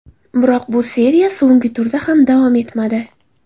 Biroq bu seriya so‘nggi turda ham davom etmadi.